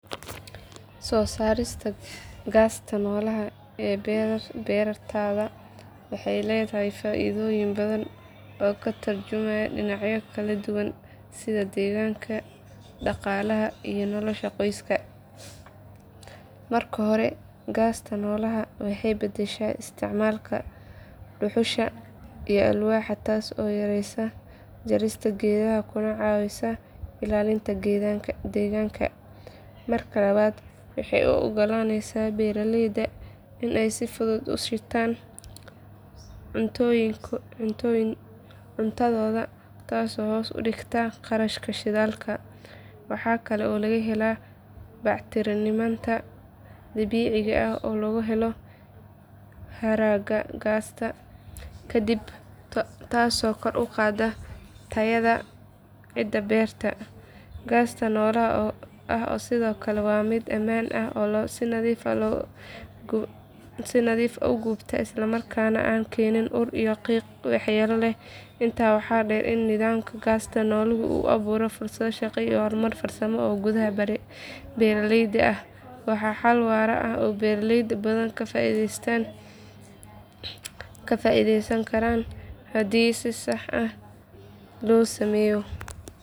Soo saarista gaasta noolaha ee beertaada waxay leedahay faa’iidooyin badan oo ka tarjumaya dhinacyo kala duwan sida deegaanka, dhaqaalaha iyo nolosha qoyska. Marka hore gaasta noolaha waxay beddeshaa isticmaalka dhuxusha iyo alwaaxda taasoo yaraysa jarista geedaha kuna caawisa ilaalinta deegaanka. Marka labaad waxay u oggolaaneysaa beeraleyda in ay si fudud u shitaan cuntadooda taasoo hoos u dhigta kharashka shidaalka. Waxa kale oo laga helaa bacriminta dabiiciga ah oo laga helo haraaga gaasta kadib taasoo kor u qaadda tayada ciidda beerta. Gaasta noola ah sidoo kale waa mid ammaan ah oo si nadiif ah u gubata islamarkaana aan keenin ur iyo qiiq waxyeello leh. Intaa waxaa dheer in nidaamka gaasta noolaha uu abuuro fursado shaqo iyo horumar farsamo oo gudaha beeraleyda ah. Waa xal waara oo beeraley badan ka faa’iideysan karaan haddii si sax ah loo sameeyo.